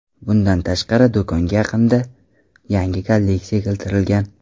Bundan tashqari, do‘konga yaqinda yangi kolleksiya keltirilgan.